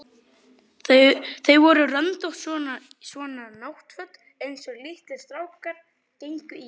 Þau voru röndótt, svona náttföt einsog litlir strákar gengu í.